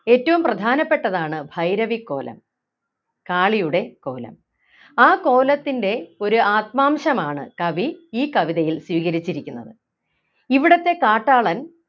ഏറ്റവും പ്രധാനപ്പെട്ടതാണ് ഭൈരവിക്കോലം കാളിയുടെ കോലം ആ കോലത്തിൻ്റെ ഒരു ആത്മാംശമാണ് കവി ഈ കവിതയിൽ സ്വീകരിച്ചിരിക്കുന്നത് ഇവിടത്തെ കാട്ടാളൻ